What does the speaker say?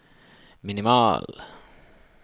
minimal